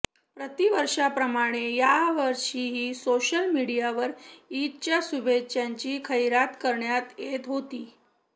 प्रतिवर्षाप्रमाणे यावषीही सोशल मीडियावर ईदच्या शुभेच्छांची खैरात करण्यात येत होती